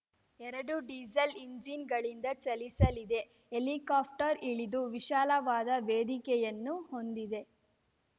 ಎರಡು ಡೀಸೆಲ್‌ ಎಂಜಿನ್‌ಗಳಿಂದ ಚಲಿಸಲಿದೆ ಹೆಲಿಕಾಪ್ಟರ್‌ ಇಳಿದು ವಿಶಾಲವಾದ ವೇದಿಕೆಯನ್ನು ಹೊಂದಿದೆ